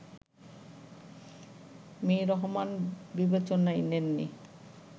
Mr Rahman বিবেচনায় নেন নি